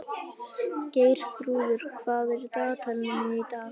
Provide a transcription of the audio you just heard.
Geirþrúður, hvað er í dagatalinu mínu í dag?